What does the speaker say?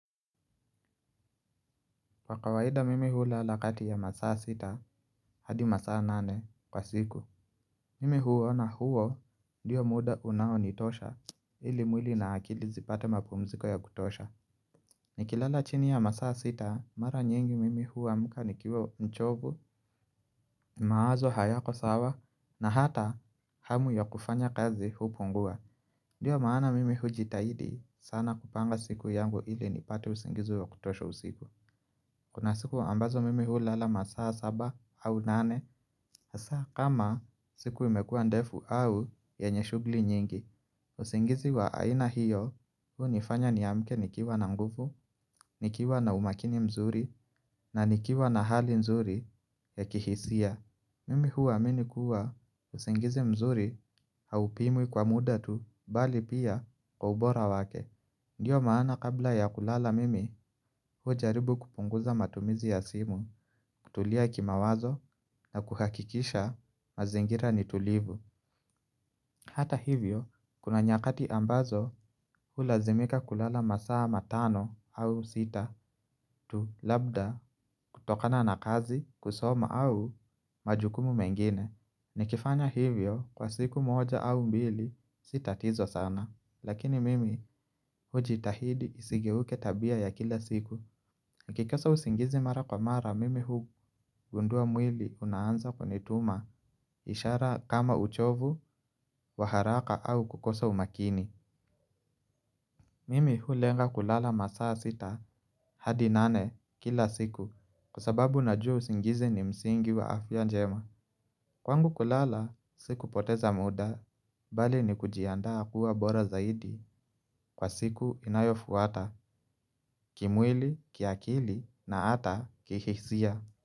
Pa kawaida mimi hulalakati ya masaa sita hadi masaa nane kwa siku. Mimi huona huo ndiyo muda unaonitosha ili mwili na akili zipate mapumziko ya kutosha. Nikilala chini ya masaa sita mara nyingi mimi huamka nikiwa mchovu mawazo hayako sawa na hata hamu ya kufanya kazi hupungua. Ndiyo maana mimi hujitahidi sana kupanga siku yangu ili nipate usingizi wa kutosha usiku. Kuna siku ambazo mimi hulala masaa saba au nane. Hasaa kama siku imekua ndefu au yenye shugli nyingi usingizi wa aina hiyo hunifanya niamke nikiwa na nguvu nikiwa na umakini mzuri na nikiwa na hali nzuri ya kihisia mimi huwaamini kuwa usingizi mzuri haupimwi kwa muda tu bali pia kwa ubora wake. Ndiyo maana kabla ya kulala mimi ujaribu kupunguza matumizi ya simu, kutulia kimawazo na kuhakikisha mazingira nitulivu. Hata hivyo, kuna nyakati ambazo ulazimika kulala masaa matano au sita tu labda kutokana na kazi kusoma au majukumu mengine. Nikifanya hivyo kwa siku moja au mbili sitatizo sana. Lakini mimi hujitahidi isigeuke tabia ya kila siku. Nikikosa usingizi mara kwa mara mimi hugundua mwili unaanza kunituma. Ishara kama uchovu wa haraka au kukosa umakini mimi hulenga kulala masaa sita hadi nane kila siku. Kwa sababu najua usingizi ni msingi wa afya njema. Kwangu kulala sikupoteza muda, bali ni kujiandaa kuwa bora zaidi kwa siku inayofuata, kimwili, kiakili na ata kihisia.